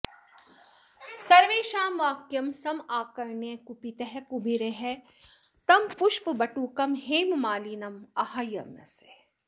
सर्वेषां वाक्यं समाकर्ण्य कुपितः कुबेरः तं पुष्पबटुकं हेममालिनम् आह्वयामास